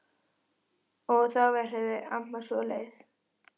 Og þá verður amma svo leið.